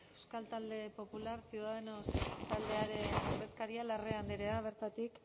euskal talde popular ciudadanos taldearen ordezkaria larrea andrea bertatik